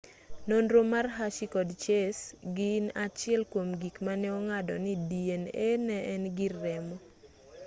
nonro mar hershey kod chase gin achiel kuom gik mane ong'ado ni dna ne en gir remo